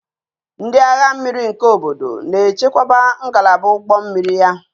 Ndị agha mmiri nke obodo na-echekwaba ngalaba ụgbọ mmiri ya